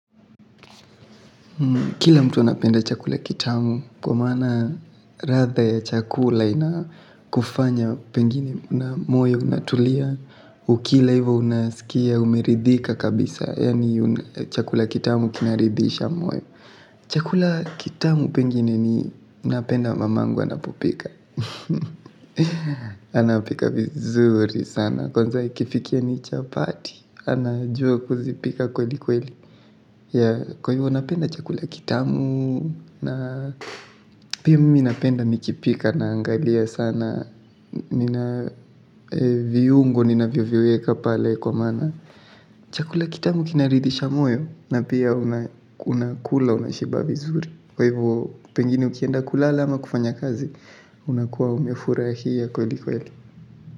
Kila mtu anapenda chakula kitamu kwa maana ladha ya chakula inakufanya pengine na moyo unatulia. Ukila hivyo unaskia umeridhika kabisa yaani chakula kitamu kinaridhisha moyo. Chakula kitamu pengine ninapenda mamangu anapopika anapika vizuri sana kwanza ikifikia ni chapati anajua kuzipika kweli kweli. Ya kwa hivyo napenda chakula kitamu na pia mimi napenda nikipika naangalia sana. Nina viungo ninavyoviweka pale kwa maana. Chakula kitamu kinaridhisha moyo na pia unakula unashiba vizuri. Kwa hivyo pengine ukienda kulala ama kufanya kazi unakuwa umefurahia kweli kweli.